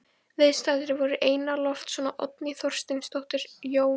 Viðstaddir voru Einar Loftsson og Oddný Þorsteinsdóttir, Jón